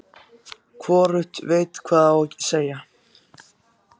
Hvorugt veit hvað á að segja.